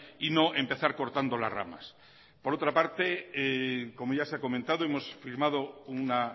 y no empezar cortando las ramas por otra parte como ya se ha comentado hemos firmado una